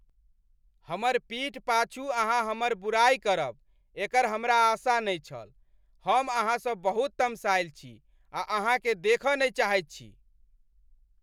हमर पीठ पाछू अहाँ हमर बुराइ करब एकर हमरा आशा नहि छल, हम अहाँसँ बहुत तमसायल छी आ अहाँकेँ देखऽ नहि चाहैत छी।